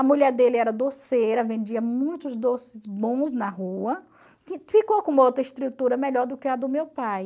A mulher dele era doceira, vendia muitos doces bons na rua, ficou com uma outra estrutura melhor do que a do meu pai.